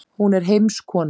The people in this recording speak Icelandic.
Hún er heimskona.